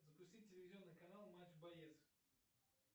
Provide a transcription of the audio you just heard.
запусти телевизионный канал матч боец